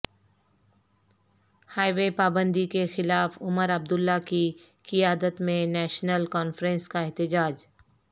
high وے پابندی کے خلاف عمر عبداللہ کی قیادت میں نیشنل کانفرنس کا احتجاج